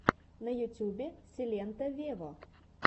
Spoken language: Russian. на ютубе силенто вево